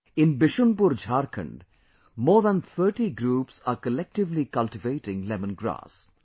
In Bishunpur, Jharkhand, more than thirty groups are collectively cultivating lemongrass